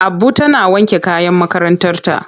Abu tana wanke kayan makarantarta.